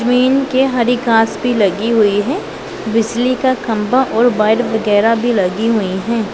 Mean के हरी घास भी लगी हुई है बिजली का खंबा और वायर वगैरा भी लगी हुई है।